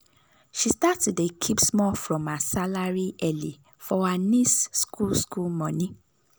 she start to dey keep small from her salary early for her niece school school money.